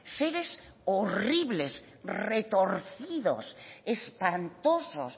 seres horribles retorcidos espantosos